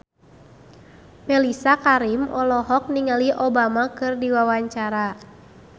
Mellisa Karim olohok ningali Obama keur diwawancara